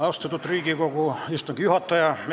Austatud Riigikogu istungi juhataja!